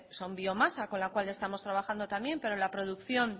son biomasa con la cual estamos trabajando también pero la producción